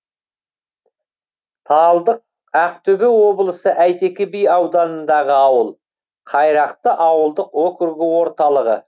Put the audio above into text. талдық ақтөбе облысы әйтеке би ауданындағы ауыл қайрақты ауылдық округі орталығы